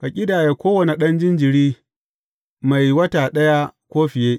Ka ƙidaya kowane ɗan jinjiri mai wata ɗaya ko fiye.